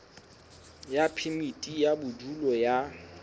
ya phemiti ya bodulo ya